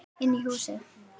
Inn í húsið?